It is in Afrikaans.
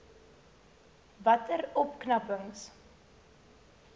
watter opknapping